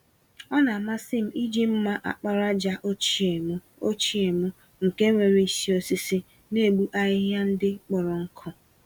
Ọ namasịm iji mma àkpàràjà ochie mụ, ochie mụ, nke nwéré isi osisi, n'egbu ahịhịa ndị kpọrọ nkụ